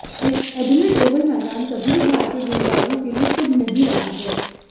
Adelaide Oval मैदान कभी भी भारतीय गेंदबाजों के लिए शुभ नहीं रहा है